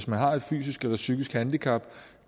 man har et fysisk eller psykisk handicap